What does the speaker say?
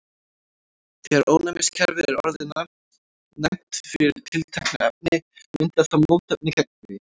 þegar ónæmiskerfið er orðið næmt fyrir tilteknu efni myndar það mótefni gegn því